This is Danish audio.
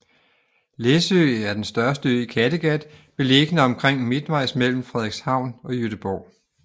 Læsø er den største ø i Kattegat beliggende omtrent midtvejs mellem Frederikshavn og Gøteborg